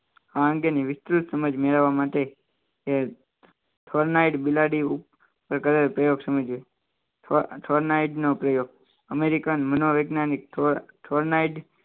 અંગેની વિસ્તૃત સમજ મેળવવા માટેનો પ્રયોગ અમેરિકન મનોવૈજ્ઞાનિક